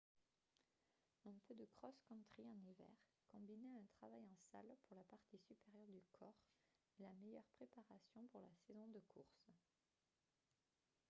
un peu de cross-country en hiver combiné à un travail en salle pour la partie supérieure du corps est la meilleure préparation pour la saison de course